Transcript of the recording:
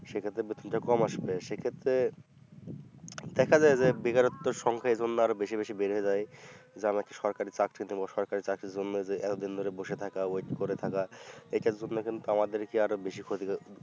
সেক্ষত্রে বেতনটা কম আসবে সেক্ষেত্রে দেখা যায় যে বেকারত্ব সংখ্যা এজন্য আরও বেশি বেশি বেড়ে যায় যা নাকি সরকারি চাকরি সরকারি চাকরির জন্য যে এতদিন ধরে বসে থাকা wait করে থাকা এটার জন্য কিন্ত আমাদেরকে আরো বেশি ক্ষতি